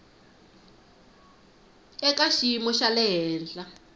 eka xiyimo xa le henhla